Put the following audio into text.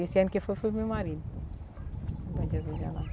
Esse ano que eu fui, fui com o meu marido para Bom Jesus da Lapa.